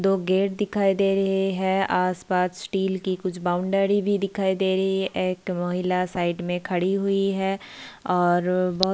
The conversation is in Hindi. दो गेट दिखाई दे रहे है आस-पास टिल की कुछ बॉउंड्री भी दिखाई दे रही है एक महिला साइड में खड़ी हुई है और बहुत --